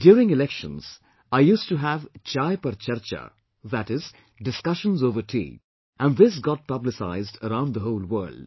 During elections, I used to have 'chai पर charcha', that is discussions over tea and this got publicised around the whole world